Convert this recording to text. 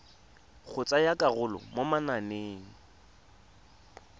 go tsaya karolo mo mananeng